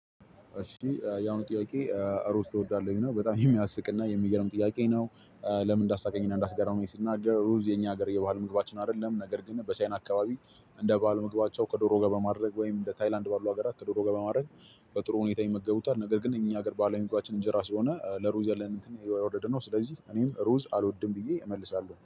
እሺ ያሁኑ ጥያቄ ሮዝ ትወዳለህ ይላል በጣም የሚያስቅና የሚገርም ጥያቄ ነው? ለምን እንዳሳቀኝ እና እንዳስገረመኝ ስናገር ሩዝ የኛ ሀገር የባህልምግባችን አይደለም። ነገር ግን በቻይና አከባቢ እንደ ባህል ምግባቸው ከዶሮ ጋር በማድረግ ወይም እንደ ታይላንድ ባለው ሀገራት ከዶሮ ጋር በማድረግ በጥሩ ሁኔታ ይመገቡታል። ነገር ግን እኛ ሀገር ባህላዊ ምግባችን እንጀራ ስለሆነ ለሩዝ ያለን እንትን የወረደነው ስለዚህ እኔም ሩዝ አልወድም ብዬ እመልሳለሁ